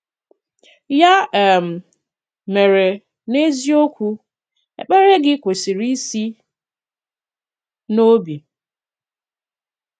Yà um mèrè, n’eziokwù, èkpèrè gị̀ kwesị̀rì isi n’òbì.